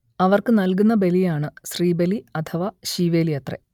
അവർക്ക് നൽകുന്ന ബലിയാണ് ശ്രീബലി അഥവാ ശീവേലി അത്രെ